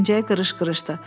Pençəyi qırış-qırışdır.